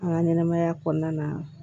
An ka ɲɛnɛmaya kɔnɔna na